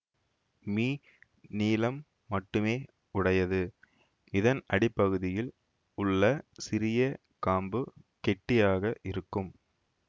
me நீளம் மட்டுமே உடையது இதன் அடிப்பகுதியில் உள்ள சிறிய காம்பு கெட்டியாக இருக்கும்